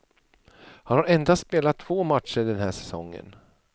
Han har endast spelat två matcher den här säsongen.